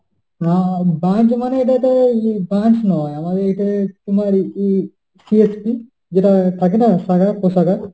আহ branch মানে এটা তোর branch নয়, আমাদের এটা তোমার ই~ CSP । যেটা থাকে না শাখা-প্রশাখা।